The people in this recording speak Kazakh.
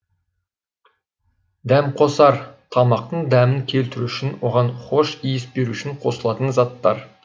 дәмқосар тамақтың дәмін келтіру үшін оған хош иіс беру үшін қосылатын заттар